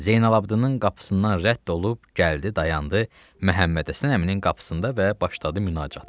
Zeynalabdin'in qapısından rədd olub gəldi dayandı Məhəmmədhəsən əminin qapısında və başladı münacatı.